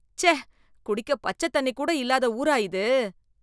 ச்சே. குடிக்க பச்சத் தண்ணி கூட இல்லாத ஊரா இது